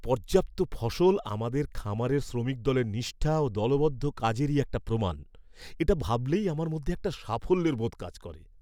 এই পর্যাপ্ত ফসল আমাদের খামারের শ্রমিক দলের নিষ্ঠা ও দলবদ্ধ কাজেরই একটা প্রমাণ। এটা ভাবলেই আমার মধ্যে একটা সাফল্যের বোধ কাজ করে।